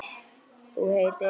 Þú heitir?